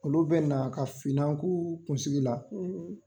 Olu bɛ na ka finann ku kunsigi la.